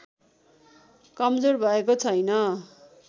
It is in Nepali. कमजोर भएको छैन